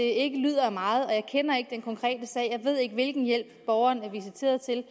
ikke lyder af meget jeg kender ikke den konkrete sag og jeg ved ikke hvilken hjælp borgeren er visiteret til